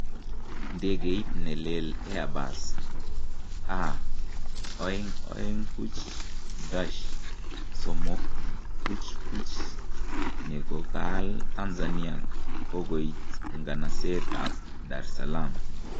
ndegeit ne lel Airbus A220-300 nekokaal Tanzania kokoit inganaseet ab Dar es Salaam